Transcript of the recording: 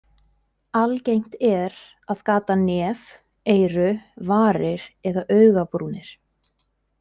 Algengt er að gata nef, eyru, varir eða augabrúnir.